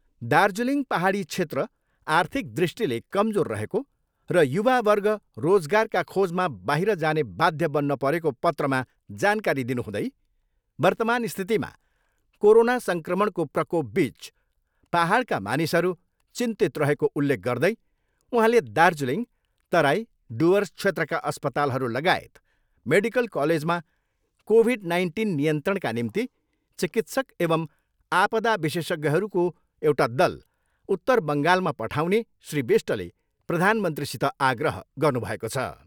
दार्जिलिङ पाहाडी क्षेत्र आर्थिक दृष्टिले कमजोर रहेको र युवावर्ग रोजगारका खोजमा बाहिर जाने बाध्य बन्न परेको पत्रमा जानकारी दिनुहुँदै वर्तमान स्थितिमा कोरोना सङ्क्रमणको प्रकोपबिच पाहाडका मानिसहरू चिन्तित रहेको उल्लेख गर्दै उहाँले दार्जिलिङ, तराई, डुर्वस क्षेत्रका अस्पतालहरू लगायत मेडिकल कलेजमा कोभिड नाइन्टिन नियन्त्रणका निम्ति चिकित्सक एवम् आपदा विशेषज्ञहरूको एउटा दल उत्तर बङ्गालमा पठाउने श्री विष्टले प्रधानमन्त्रीसित आग्रह गर्नुभएको छ।